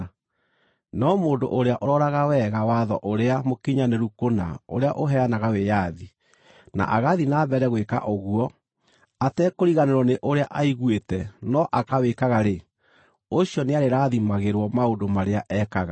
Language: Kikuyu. No mũndũ ũrĩa ũroraga wega watho ũrĩa mũkinyanĩru kũna ũrĩa ũheanaga wĩyathi, na agathiĩ na mbere gwĩka ũguo, atekũriganĩrwo nĩ ũrĩa aiguĩte no akawĩkaga-rĩ, ũcio nĩarĩrathimagĩrwo maũndũ marĩa ekaga.